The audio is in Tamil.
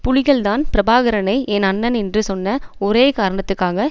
புலிகள்தான் பிரபாகரனை என் அண்ணன் என்று சொன்ன ஒரே காரணத்துக்காக